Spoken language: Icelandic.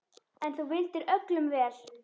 En þú vildir öllum vel.